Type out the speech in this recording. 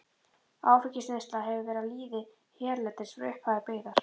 Áfengisneysla hefur verið við lýði hérlendis frá upphafi byggðar.